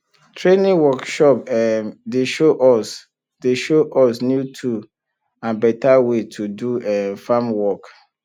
training workshop um dey show us dey show us new tool and better way to do um farm work